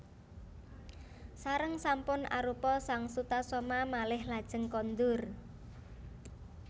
Sareng sampun arupa sang Sutasoma malih lajeng kondur